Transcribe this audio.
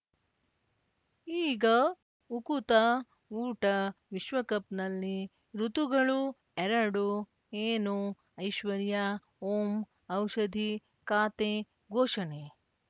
ಈಗ ಉಕುತ ಊಟ ವಿಶ್ವಕಪ್‌ನಲ್ಲಿ ಋತುಗಳು ಎರಡು ಏನು ಐಶ್ವರ್ಯಾ ಓಂ ಔಷಧಿ ಖಾತೆ ಘೋಷಣೆ